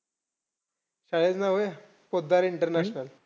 शाळेचं नाव व्हयं? पोतदार इंटरनॅशल!